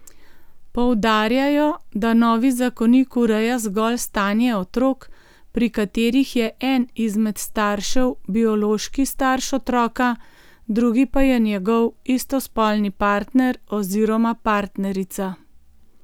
Poudarjajo, da novi zakonik ureja zgolj stanje otrok, pri katerih je en izmed staršev biološki starš otroka, drugi pa je njegov istospolni partner oziroma partnerica.